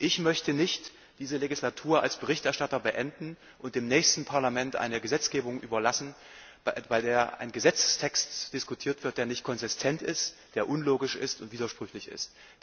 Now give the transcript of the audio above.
Ich möchte nicht diese Legislaturperiode als Berichterstatter beenden und dem nächsten Parlament eine Gesetzgebung überlassen, bei der ein Gesetzestext diskutiert wird, der nicht konsistent ist, der unlogisch und widersprüchlich ist.